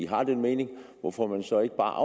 har den mening hvorfor man så ikke bare